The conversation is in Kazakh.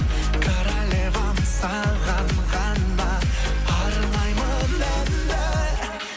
королевам саған ғана арнаймын әнді